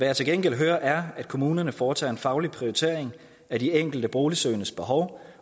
jeg til gengæld hører er at kommunerne foretager en faglig prioritering af de enkelte boligsøgendes behov